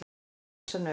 Svo reis hann upp.